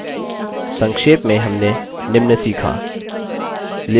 संक्षेप में हमने निम्न सीखाः